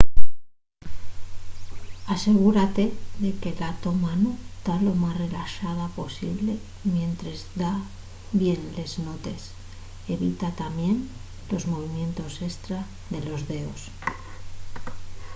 asegúrate de que la to mano ta lo más relaxada posible mientres da bien les notes evita tamién los movimientos estra de los deos